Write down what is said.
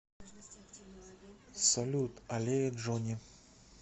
салют аллея джони